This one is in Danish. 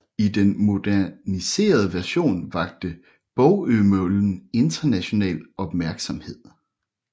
I den moderniserede version vakte Bogømøllen international opmærksomhed